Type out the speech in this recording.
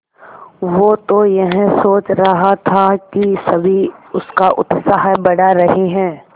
वो तो यह सोच रहा था कि सभी उसका उत्साह बढ़ा रहे हैं